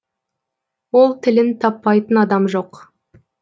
ол тілін таппайтын адам жоқ